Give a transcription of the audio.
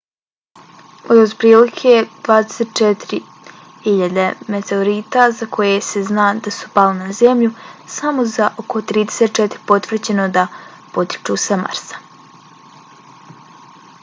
od otprilike 24.000 meteorita za koje se zna da su pali na zemlju samo za oko 34 je potvrđeno da potiču sa marsa